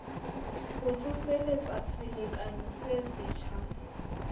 ho tsoseletsa selekane se setjha